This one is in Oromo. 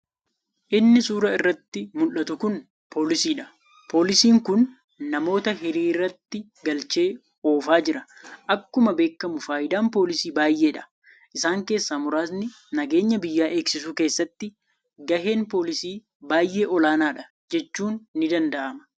Inni suuraa irratti muldhatu kun poolisiidha. poolisiin kun namoota hiriiratti galchee oofaa jira. Akkuma beekkamu faayidaan poolisii baayyeedha. Isaan keessaa muraasni nageenya biyya eegsisuu keessatti gaheen poolisii baayyee olaanaadha jechuun ni danda'ama.